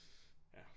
Ja